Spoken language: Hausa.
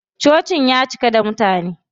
Cocin ya cika da mutane.